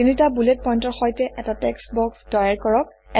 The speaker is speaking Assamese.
তিনিটা বুলেট পইণ্টৰ সৈতে এটা টেক্সট্ বক্স তৈয়াৰ কৰক